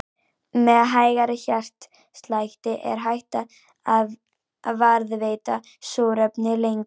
Með hægari hjartslætti er hægt að varðveita súrefni lengur.